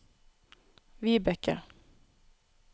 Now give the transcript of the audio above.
Vibecke